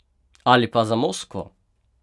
Ali pa za Moskvo!